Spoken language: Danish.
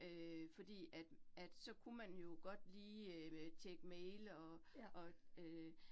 Øh fordi at at så kunne man jo godt lige øh tjekke mail og og øh